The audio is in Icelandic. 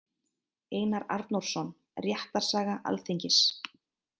Einar Arnórsson: Réttarsaga Alþingis.